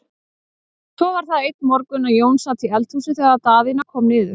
Svo var það einn morgun að Jón sat í eldhúsi þegar Daðína kom niður.